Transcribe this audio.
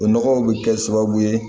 O nɔgɔw bɛ kɛ sababu ye